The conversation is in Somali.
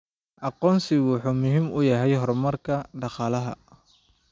Aqoonsigu wuxuu muhiim u yahay horumarka dhaqaalaha.